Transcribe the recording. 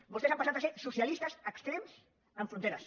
vostès han passat a ser socialistes extrems amb fronteres